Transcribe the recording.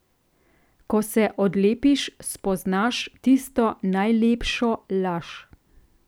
Ko se odlepiš, spoznaš tisto najlepšo laž.